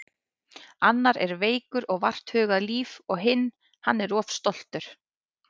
Annar er veikur og vart hugað líf og hinn. hann er of stoltur.